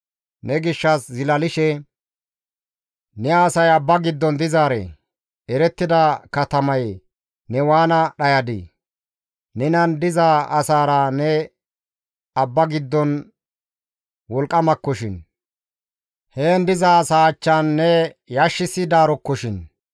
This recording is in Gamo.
Ne gishshas zilalishe, « ‹Ne asay abba giddon dizaaree, erettida katamaye ne waana dhayadii! Nenan diza asaara ne abba giddon wolqqamakkoshin, heen diza asaa achchan ne yashissidaarokkoshin.